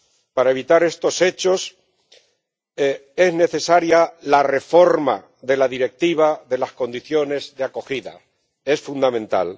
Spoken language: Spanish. Para evitar estos hechos, es necesaria la reforma de la Directiva de las condiciones de acogida es fundamental.